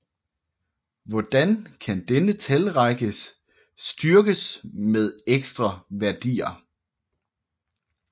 Hvordan kan denne talrække styrkes med ekstra værdier